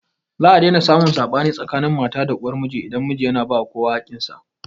Za a daina samun saɓani tsakanin mata da uwar miji idan miji yana ba kowa haƙƙin sa